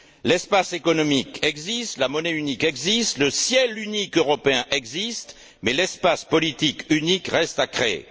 L'espace économique existe, la monnaie unique existe, le ciel unique européen existe, mais l'espace politique unique reste à créer.